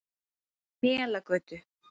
Melagötu